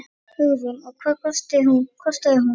Hugrún: Og hvað kostaði hún?